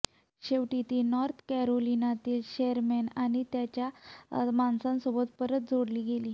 शेवटी ती नॉर्थ कॅरोलिनातील शेरमेन आणि त्याच्या माणसांसोबत परत जोडली गेली